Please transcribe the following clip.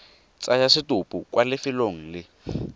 tsaya setopo kwa lefelong le